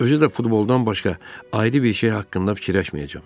Özü də futboldan başqa ayrı bir şey haqqında fikirləşməyəcəm.